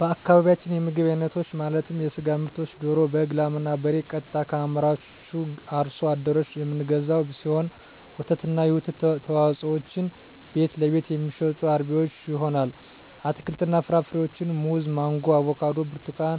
በአካባቢያችን የምግብ አይነቶች ማለትም የስጋ ምርቶችን ደሮ በግ ላም እና በሬ ቀጥታ ከአምራቹ አርሶ አደሮች የምንገዛው ሲሆን ወተትና የወተት ተዋፅኦዎችን ቤትለቤት የሚሸጡ አርቢዎች ይሆናል አትክልትና ፍራፍሬዎችን ሙዝ ማንጎ አቮካዶ ብርቱካን